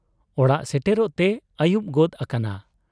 ᱚᱲᱟᱜ ᱥᱮᱴᱮᱨᱚᱜ ᱛᱮ ᱟᱹᱭᱩᱵ ᱜᱚᱫ ᱟᱠᱟᱱᱟ ᱾